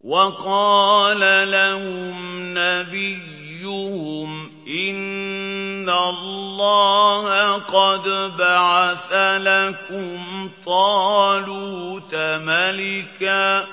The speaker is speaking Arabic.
وَقَالَ لَهُمْ نَبِيُّهُمْ إِنَّ اللَّهَ قَدْ بَعَثَ لَكُمْ طَالُوتَ مَلِكًا ۚ